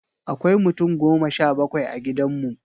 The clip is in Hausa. Akwai mutum goma sha bakwai a gidan mu.